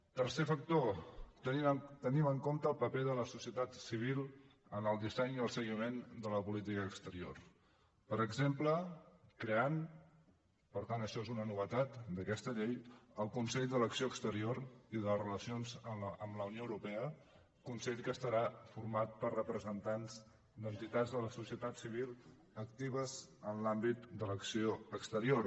tercer factor tenim en compte el paper de la societat civil en el disseny i el seguiment de la política exterior per exemple creant per tant això és una novetat d’aquesta llei el consell de l’acció exterior i de relacions amb la unió europea consell que estarà format per representants d’entitats de la societat civil actives en l’àmbit de l’acció exterior